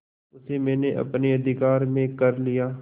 उसे मैंने अपने अधिकार में कर लिया